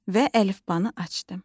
Və əlifbanı açdım.